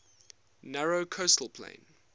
narrow coastal plain